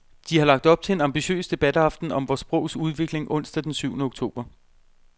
De har lagt op til en ambitiøs debataften om vort sprogs udvikling onsdag den syvende oktober.